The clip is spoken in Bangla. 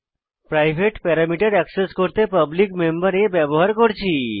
প্রাইভেট প্যারামিটার অ্যাক্সেস করতে পাবলিক মেম্বর a ব্যবহার করেছি